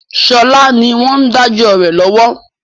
Sọlá ni wọn ń dájọ́ rẹ lọ́wọ́